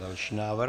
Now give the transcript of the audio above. Další návrh.